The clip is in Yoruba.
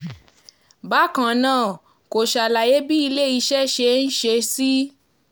bákan náà kò ṣàlàyé bí iléeṣẹ́ ṣe ń ṣe sí